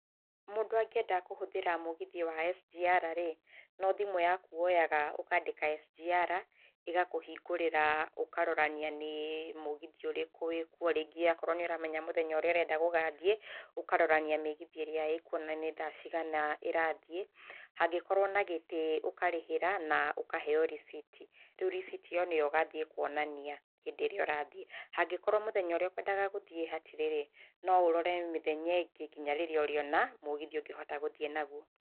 Mũndũ angĩenda kũhũthĩra mũgithi wa SGR rĩ, no thimũ yaku woyaga, ũkaandĩka SGR. Igakũhingũrĩra ũkarorania nĩ mũgithi ũrĩkũ wĩ kuo, rĩngĩ akorwo nĩ ũramenya mũthenya ũrĩa ũrenda gũgathiĩ, ũkarorania mĩgithi ĩrĩa ĩkuo na nĩ thaa cigana ĩrathiĩ. Hangĩkorwo na gĩtĩ ũkarĩhĩra na ũkaheo risiti. Rĩu risiti ĩyo, nĩ yo ũgathiĩ kũonania hĩdĩ ĩrĩa ũrathiĩ. Hangĩkorwo mũthenya ũrĩa ũkwendaga gũthiĩ hatirĩ rĩ, no ũrore mĩthenya ĩngĩ, nginya rĩrĩa ũrĩona mũgithi ũngĩhota gũthiĩ naguo.